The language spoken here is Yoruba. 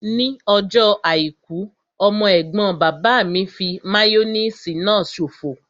Ní ọjọ́ àìkú, ọmọ ẹ̀gbọ́n bàbá mi fí máyóníìsì náà ṣòfò